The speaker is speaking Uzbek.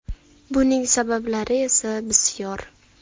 Buning sabablari esa bisyor.